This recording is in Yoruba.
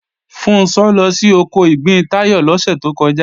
Funṣọ́ lọ sí oko ìgbín Táyọ̀ lọ́sẹ̀ tó kọjá